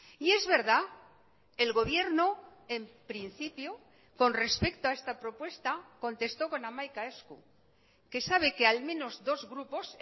y es verdad el gobierno en principio con respecto a esta propuesta contestó con hamaika esku que sabe que al menos dos grupos